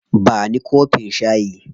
Ba ni kofin shayi.